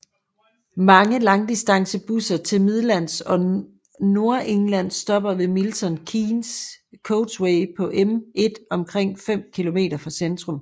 Mange langdistancebusser til Midlands og Nordengland stopper ved Milton Keynes Coachway på M1 omkring 5 km fra centrum